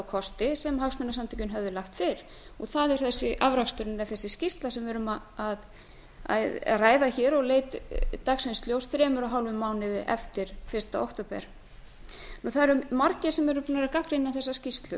kosti sem hagsmunasamtökin höfðu lagt til afraksturinn er þessi skýrsla sem við erum að ræða hér og leit dagsins ljós þremur og hálfum mánuði eftir fyrsta október margir eru búnir að gagnrýna þessa skýrslu